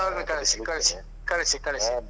ಹೌದು ಕಳ್ಸಿ ಕಳ್ಸಿ ಕಳ್ಸಿ ಕಳ್ಸಿ.